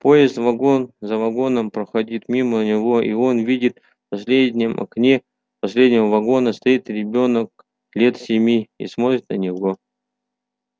поезд вагон за вагоном проходит мимо него и он видит в последнем окне последнего вагона стоит ребёнок лет семи и смотрит на него